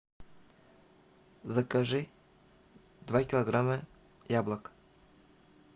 закажи два килограмма яблок